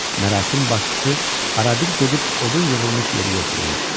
Mərasim başçısı arabir gedib odun yığılmış yeri yoxlayırdı.